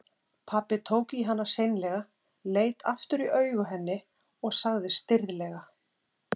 Pabbi tók í hana seinlega, leit aftur í augu henni og sagði stirðlega